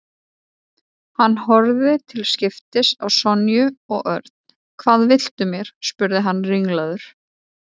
Hann horfði til skiptis á Sonju og Örn. Hvað viltu mér? spurði hann ringlaður.